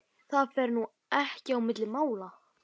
Það fer nú ekki á milli mála